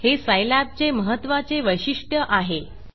हे सायलॅबचे महत्वाचे वैशिष्ट्य आहे